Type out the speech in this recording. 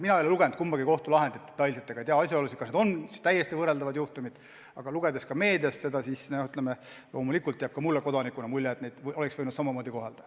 Mina ei ole lugenud kumbagi kohtulahendit detailselt ega tea asjaolusid, kas need on täiesti võrreldavad juhtumid, aga meedia põhjal otsustades jääb ka mulle kodanikuna mulje, et neid süüdlasi oleks võinud samamoodi kohelda.